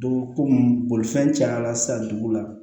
Dugu ko bolifɛn cayala sisan dugu la